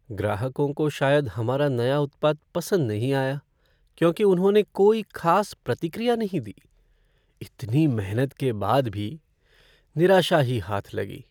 ग्राहकों को शायद हमारा नया उत्पाद पसंद नहीं आया क्योंकि उन्होंने कोई ख़ास प्रतिक्रिया नहीं दी। इतनी मेहनत के बाद भी निराशा ही हाथ लगी।